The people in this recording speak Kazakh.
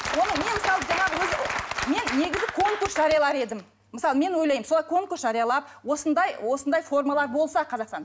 оны мен мысалы жаңағы өзі мен негізі конкурс жариялар едім мысалы мен ойлаймын солай конкурс жариялап осындай осындай формалар болса қазақстанда